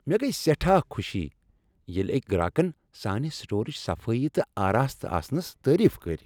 مےٚ گیۍ سیٹھاہ خوشی ییٚلہِ أکۍ گراكن سانہِ سٹورٕچ صفٲیی تہٕ آرستہ آسنس تعریف کٔرۍ۔